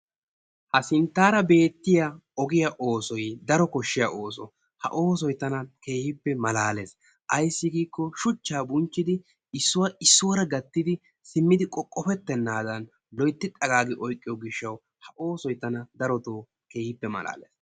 Ha sinttaara beettiya ogiya oosoy daro koshshiya ooso. ha oosoy tana keehippe malaales. Ayissi giikko shuchchaa bunchchidi issuwa issuwara gattidi simmidi laalettennaadan loyittidi xagaagi oyqiyo gishshaw ha oosoy tana keehippe malaales.